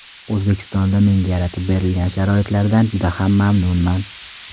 O‘zbekistonda menga yaratib berilgan sharoitlardan juda ham mamnunman.